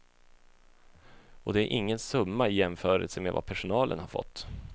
Och det är ingen summa i jämförelse med vad personalen har fått.